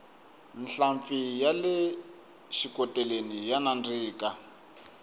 nhlampfi yale xikoteleni ya nandzika